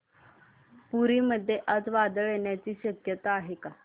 पुरी मध्ये आज वादळ येण्याची शक्यता आहे का